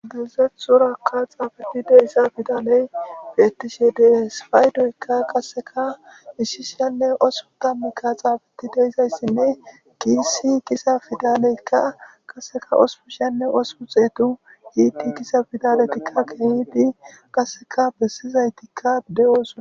giizeth surakka xaafetide isa fidaley fiyettishe de espaaydoykka qasseka miishishenne osu tammikka xaabeti deizayssinne giissi kisa fidaleykka qasseka osupu shenne osu xeetu iiti kisa fidaletikka kehiiti qasseka bessizaytikka de7oosna